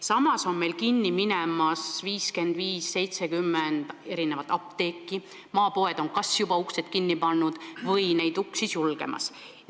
Samas on meil kinni minemas 55–70 apteeki, maapoed on kas juba uksed kinni pannud või neid peagi sulgemas.